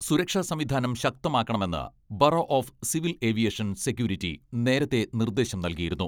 സുരക്ഷാ സംവിധാനം ശക്തമാക്കണമെന്ന് bureau of civil aviation security നേരത്തെ നിർദ്ദേശം നൽകിയിരുന്നു.